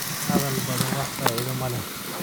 Hadhal badaan waxba faida malex.